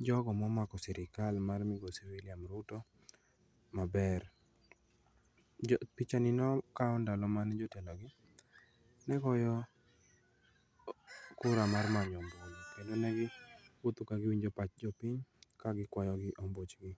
jogo momako sirkal mar migosi Wiliam Ruto maber. Pichani nokau ndalo mana jotelogi negoyo kura mar manyo ombulu kendo negiwuotho kagiwinjo pach jopiny ka gikwayogi ombuchgi.